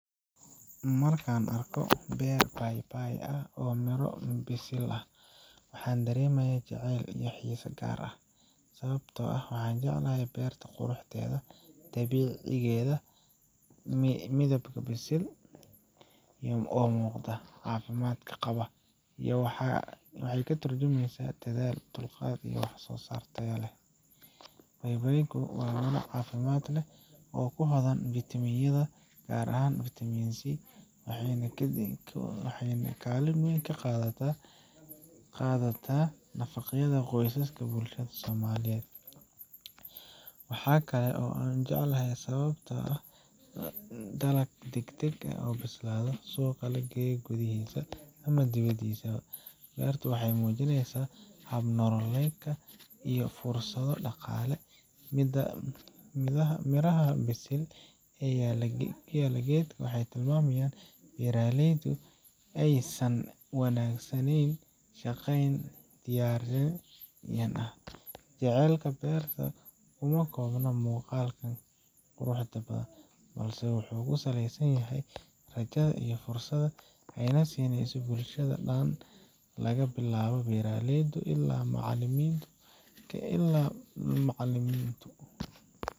Marka aan arko beer paypay ah oo miro bisil leh, waxaan dareemaa jacayl iyo xiise gaar ah. Sababta aan u jeclahay beertan waa quruxdeeda dabiiciga ah, midhaha bisil ee u muuqda caafimaad qaba, iyo waxa ay ka tarjumayso dadaal, dulqaad iyo waxsoosaar miro dhalay. paypaydu waa miro caafimaad badan leh, oo hodan ku ah fiitamiinnada, gaar ahaan Vitamin C, waxayna kaalin weyn ka qaadataa nafaqada qoysaska iyo bulshada somaliyeed. Waxaa kale oo aan u jecelahay sababtoo ah waa dalag degdeg u bislaada, suuqna u leh gudaha iyo dibaddisaba. Beertu waxay muujinaysaa hab nololeed iyo fursado dhaqaale. Midhaha bisil ee yaalla geedka waxay tilmaamayaan in beeraleydu aysan wanaagsanen u shaqeeyeen, una diyaarsan. Jacaylka beertan kuma koobna muuqaalkeeda quruxda badan, balse wuxuu ku saleysan yahay rajada iyo fursadda ay siineyso bulshada oo dhan laga bilaabo beeraleyda ilaa macaalimimtu.